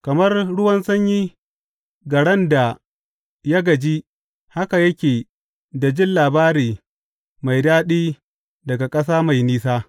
Kamar ruwan sanyi ga ran da ya gaji haka yake da jin labari mai daɗi daga ƙasa mai nisa.